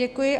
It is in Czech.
Děkuji.